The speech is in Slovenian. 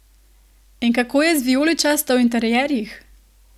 In kako je z vijoličasto v interierjih?